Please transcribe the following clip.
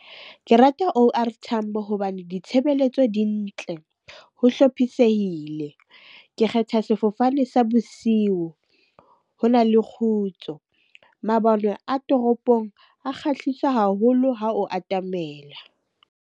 Ke rata O_R Tambo hobane ditshebeletso dintle. Ho hlophisehile. Ke kgetha sefofane sa bosiu ho na le kgutso. Mabone a toropong a kgahlisa haholo ha o atamela.